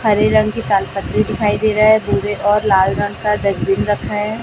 हरे रंग की तालपत्री दिखाई दे रहा है भूरे और लाल रंग का डस्टबिन रखा है।